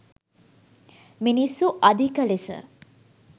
මිනිස්සු අධික ලෙස